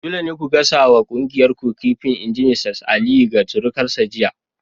Dole ne ku gasa wa kuyangar ku kifin! in ji Mrs Aliyu ga surukarta jiya!